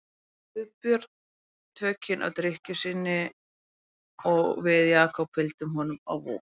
Guðbjörn tökin á drykkju sinni og við Jakob fylgdum honum á Vog.